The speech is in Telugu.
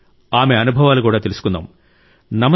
రండి ఆమె అనుభవాలు కూడా తెలుసుకుందాం